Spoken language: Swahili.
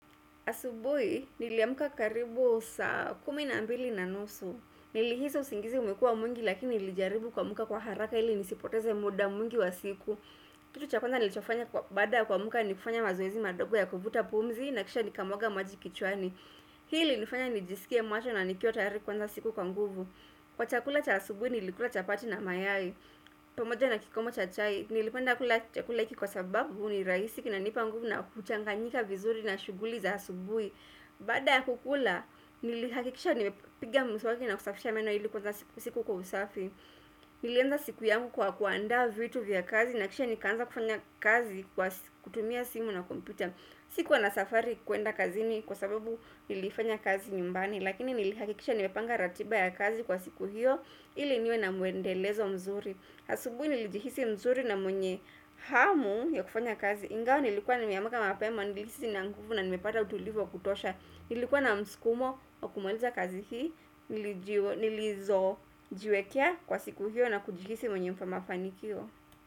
Asubui niliyamuka karibu saa kumi na mbili na nusu. Nilihizi usingizi umekua mwingi lakini nilijaribu kwamuka kwa haraka hili nisipoteze muda mwingi wa siku. Kitu cha kwanza nilichofanya kwa bada kwamuka ni kufanya mazoezi madogo ya kuvuta pumzi na kisha nikamwaga maji kichwani. Hii ilinifanya nijisikie macho na nikiotari kwanza siku kwa nguvu. Kwa chakula cha asubui nilikula chapati na mayai. Pamoja na kikomo cha chai Nilipenda kula chakula iki kwa sababu ni raisi kinanipa nguvu na kuchanganyika vizuri na shuguli za asubui Bada ya kukula Nilihakikisha nimepiga msawaki na kusafisha meno ili kwanza siku kwa usafi Nilienda siku yangu kwa kuanda vitu vya kazi na kisha nikanza kufanya kazi kutumia simu na kompyuta Sikua nasafari kuenda kazini kwa sababu nilifanya kazi nyumbani Lakini nilihakikisha nimepanga ratiba ya kazi kwa siku hiyo ili niwe na muendelezo mzuri hasubui nilijihisi mzuri na mwenye hamu ya kufanya kazi ingao nilikuwa na meamaka mapema nilisi na nguvu na nimepata utulivu kutosha nilikuwa na mskumo wa kumaliza kazi hii nilizo jiwekea kwa siku hiyo na kujihisi mwenye mafanikio.